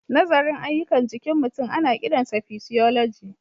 Nazarin ayyukan jikin mutum ana kiransa physiology.